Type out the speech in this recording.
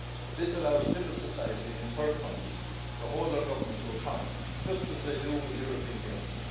This allows civil society in third countries to hold their governments to account, just as they do in the European Union.